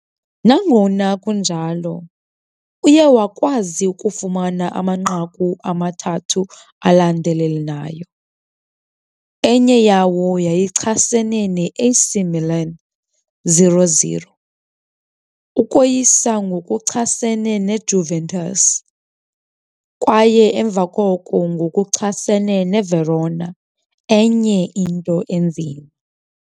Nangona kunjalo, uye wakwazi ukufumana amanqaku amathathu alandelelanayo, enye yawo yayichasene ne-AC Milan, 0 - 0. Ukoyisa ngokuchasene neJuventus kwaye emva koko ngokuchasene neVerona, enye into enzima.